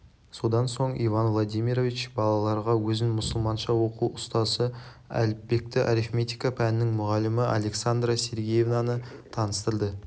содан соң иван владимирович балаларға өзін мұсылманша оқу ұстазы әліпбекті арифметика пәнінің мұғалімі александра сергеевнаны таныстырды